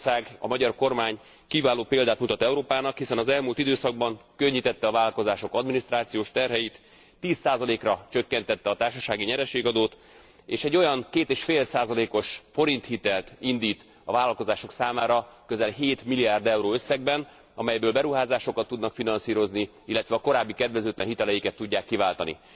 Magyarország, a magyar kormány kiváló példát mutat Európának, hiszen az elmúlt időszakban könnyítette a vállalkozások adminisztrációs terheit, 10 ra csökkentette a társasági nyereségadót, és egy olyan 2,5 os forinthitelt indít a vállalkozások számára közel 7 milliárd euró összegben, amelyből beruházásokat tudnak finanszírozni, illetve a korábbi kedvezőtlen hiteleiket tudják kiváltani.